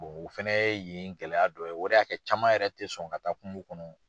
o fɛnɛ ye yen gɛlɛya dɔ ye o de y'a kɛ caman yɛrɛ tɛ sɔn ka taa kungo kɔnɔ.